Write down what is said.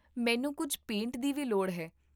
ਮੈਨੂੰ ਕੁੱਝ ਪੇਂਟ ਦੀ ਵੀ ਲੋੜ ਹੈ